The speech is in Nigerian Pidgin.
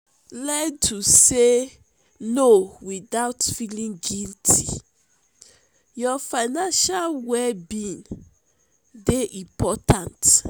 learn to say no without feeling guilty your financial well being dey important.